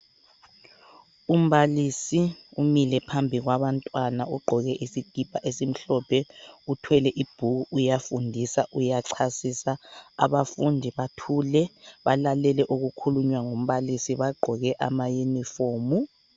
Umbalisi umile phambi kwabantwana. Ugqoke isikipa esimhlophe, uthwele ibhuku, uyafundisa , uyachasisa. Abafundi bathule, balalele okukhulunywa ngumbalisi, bagqoke ama yunifomu.